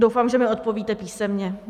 Doufám, že mi odpovíte písemně.